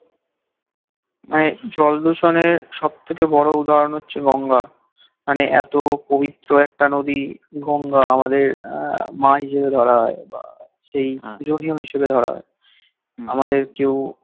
মানে জল দূষণের সব থেকে বোরো উদাহরণ হচ্ছে গঙ্গা মানে এতো পবিত্র একটা নদী গঙ্গা আমাদের আহ মা হিসাবে ধরা হয় হিসাবে ধরা হয় আমাদের কেউ